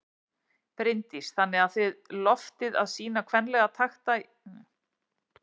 Bryndís: Þannig að þið lofið að sýna kvenlega takta í hlaupinu?